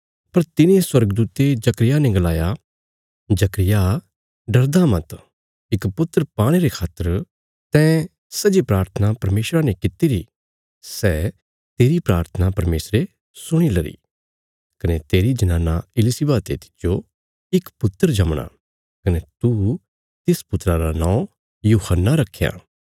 पर तिने स्वर्गदूते जकर्याह ने गलाया जकर्याह डरदा मत इक पुत्र पाणे रे खातर तैं सै जे प्राथना परमेशरा ने कित्ती री सै तेरी प्राथना परमेशरे सुणीलरी कने तेरी जनाना इलिशिबा ते तिज्जो इक पुत्र जमणा कने तू तिस पुत्रा रा नौं यूहन्ना रखयां